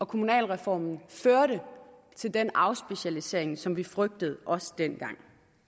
kommunalreformen førte til den afspecialisering som vi frygtede også dengang